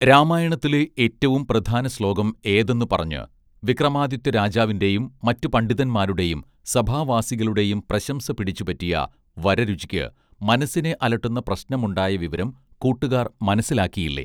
രാമായണത്തിലെ ഏറ്റവും പ്രധാനശ്ലോകം ഏതെന്നു പറഞ്ഞ് വിക്രമാദിത്യരാജാവിന്റെയും മറ്റു പണ്ഡിതന്മാരുടേയും സഭാവാസികളുടേയും പ്രശംസ പിടിച്ചുപറ്റിയ വരരുചിയ്ക്ക് മനസ്സിനെ അലട്ടുന്ന പ്രശ്നമുണ്ടായ വിവരം കൂട്ടുകാർ മനസ്സിലാക്കിയില്ലേ